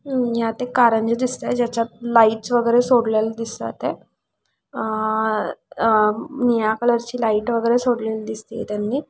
यात एक कारंज्या दिसताय ज्याच्यात लाइट्स वगैरे सोडलेले दिसत आहेत अह अह निळ्या कलर ची लाइट वगैरे सोडलेले दिसतीये त्यांनी.